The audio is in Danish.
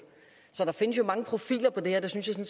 der findes jo mange profiler på det her det synes jeg